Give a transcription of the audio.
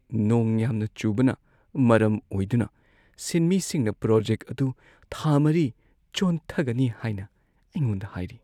ꯅꯣꯡ ꯌꯥꯝꯅ ꯆꯨꯕꯅ ꯃꯔꯝ ꯑꯣꯏꯗꯨꯅ ꯁꯤꯟꯃꯤꯁꯤꯡꯅ ꯄ꯭ꯔꯣꯖꯦꯛ ꯑꯗꯨ ꯊꯥ ꯴ ꯆꯣꯟꯊꯒꯅꯤ ꯍꯥꯏꯅ ꯑꯩꯉꯣꯟꯗ ꯍꯥꯏꯔꯤ꯫